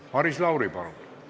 Maris Lauri, palun!